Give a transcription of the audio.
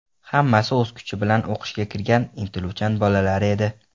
Hammasi o‘z kuchi bilan o‘qishga kirgan, intiluvchan bolalar edi.